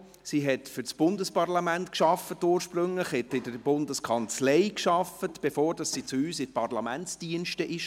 Sie arbeitete ursprünglich für das Bundesparlament, bei der Bundeskanzlei, bevor sie zu uns, zu den Parlamentsdiensten, kam.